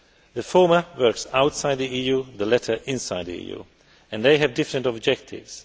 The former works outside the EU, the latter inside the EU, and they have different objectives.